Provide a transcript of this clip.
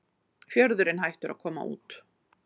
Fjörðurinn hættur að koma út